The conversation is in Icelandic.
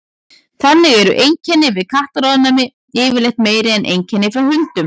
þannig eru einkenni við kattaofnæmi yfirleitt meiri en einkenni frá hundum